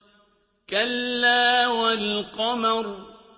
كَلَّا وَالْقَمَرِ